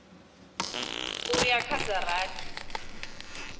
u ya kha dza rathi